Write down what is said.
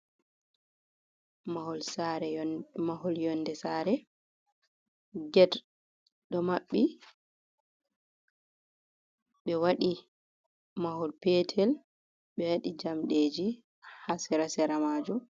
Mahol saare yonde mahol sare get ɗo maɓɓi, ɓe waɗi mahol petel, ɓe waɗi jamɗeji haa sera-sera majum.